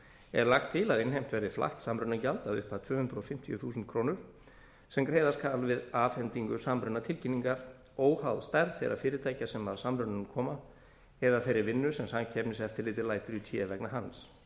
er lagt til að innheimt verði flatt samrunagjald að upphæð tvö hundruð fimmtíu þúsund krónur sem greiða skal við afhendingu samrunatilkynningar óháð stærð þeirra fyrirtækja sem að samrunanum koma eða þeirri vinnu sem samkeppniseftirlitið lætur í té vegna hans